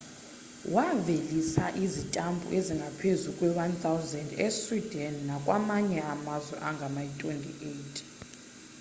wavelisa izitampu ezingaphezu kwe-1 000 esweden nakwamanye amazwe angama-28